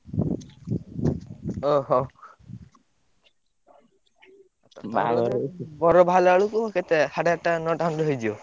ଓହୋ ବର ବାହାରିଲା ବେଳକୁ କେତେ ସାଢ଼େ ଆଠଟା ନଟା ଖଣ୍ଡେ ହେଇଯିବ?